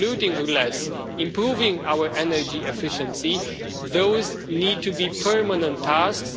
polluting less improving our energy efficiency. Those need to be permanent tasks.